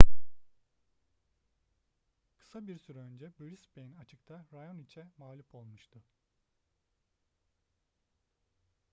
kısa bir süre öncesinde brisbane açık'ta raonic'e mağlup olmuştu